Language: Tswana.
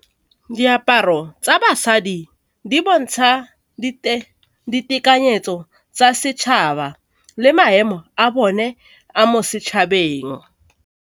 Diaparo tsa basadi di bontsha ditekanyetso tsa setšhaba le maemo a bone a mo setšhabeng.